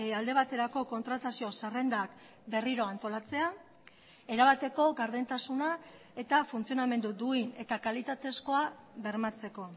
alde baterako kontratazio zerrendak berriro antolatzea erabateko gardentasuna eta funtzionamendu duin eta kalitatezkoa bermatzeko